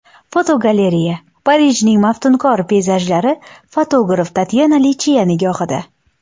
Fotogalereya: Parijning maftunkor peyzajlari fotograf Tatyana Lichchia nigohida.